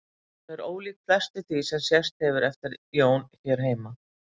Hún er ólík flestu því sem sést hefur eftir Jón hér heima.